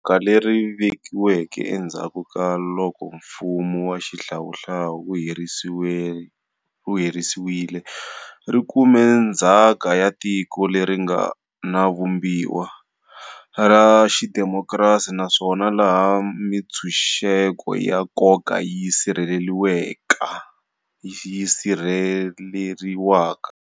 Rixaka leri nga vekiweke endzhaku ka loko mfumo wa xihlawuhlawu wu herisiwile ri kume ndzhaka ya tiko leri nga na Vumbiwa ra xidemokirasi naswona laha mitshunxeko ya nkoka yi sirheleriwaka.